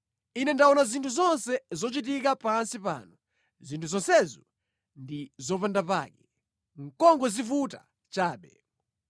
Ine ndaona zinthu zonse zochitika pansi pano; zinthu zonsezo ndi zopandapake, nʼkungodzivuta chabe.